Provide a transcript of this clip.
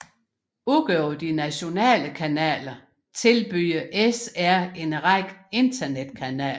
Udover de nationale kanaler tilbyder SR en række internetkanaler